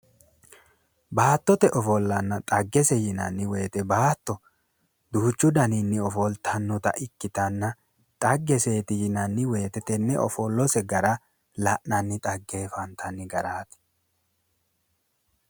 Baattotete ofollanna dhaggese yinanni woyite baatto duuchu daninni ofoltannota ikkitanna dhaggese yinanni woyite tenne ofollase gara la'nanni dhaggeeffantanni garaati.